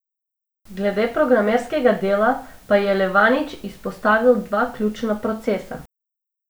Glede programskega dela pa je Levanič izpostavil dva ključna procesa.